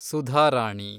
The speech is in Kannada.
ಸುಧಾರಾಣಿ